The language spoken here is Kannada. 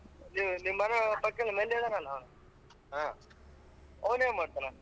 ನಿಮ್ ಮನೆ ಪಕ್ಕದಲ್ಲೇ ಮಂಜ ಇದನ ಅಲ್ಲ ಅಹ್ ಅವ್ನ್ ಏನ್ ಮಾಡ್ತಾನ್?